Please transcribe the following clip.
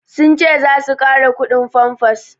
Sun ce za su ƙara kudin famfas